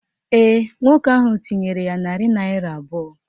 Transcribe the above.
Ee, nwoke ahụ tinyere ya narị naịra abụọ